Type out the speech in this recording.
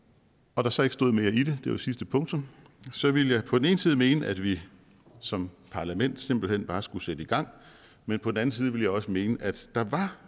og der så ikke stod mere i det det var sidste punktum så ville jeg på den ene side mene at vi som parlament simpelt hen bare skulle sætte i gang men på den anden side ville jeg også mene at der